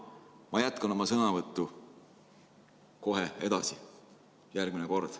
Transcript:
Ma jätkan oma sõnavõttu kohe edasi, järgmine kord.